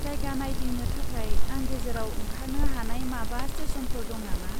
जायगा नायदिंनो थाखाय आं गेजेरआव ओंखारनो हानाय माबा स्टेसनफोर दं नामा?